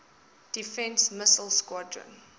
defense missile squadron